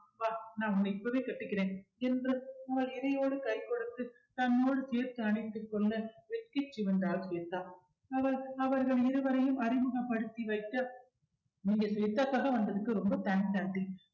வா நான் உன்னை இப்பவே கட்டிக்கிறேன் என்று அவள் இடையோடு கை கொடுத்து தன்னோடு சேர்த்து அணைத்துக் கொள்ள வெட்கிச் சிவந்தாள் ஸ்வேதா அவர் அவர்கள் இருவரையும் அறிமுகப்படுத்தி வைக்க நீங்க ஸ்வேதாகாக வந்ததுக்கு ரொம்ப thanks aunty